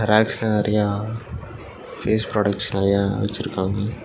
ரேக்ஸ்ல நெறையா face products நெறையா வெச்சிருக்காங்க.